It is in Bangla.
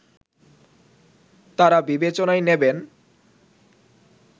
তারা বিবেচনায় নেবেন